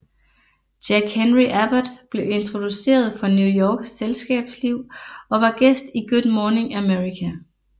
Jack Henry Abbott blev introduceret for New Yorks selskabsliv og var gæst i Good Morning America